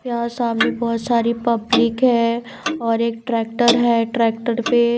यहां सामने बहोत सारी पब्लिक है और एक ट्रैक्टर है ट्रैक्टर पे--